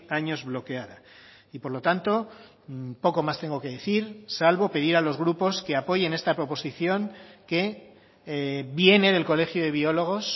años bloqueada y por lo tanto poco más tengo que decir salvo pedir a los grupos que apoyen esta proposición que viene del colegio de biólogos